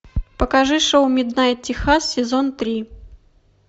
покажи шоу миднайт техас сезон три